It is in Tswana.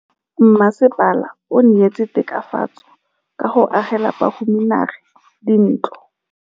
Mmasepala o neetse tokafatsô ka go agela bahumanegi dintlo.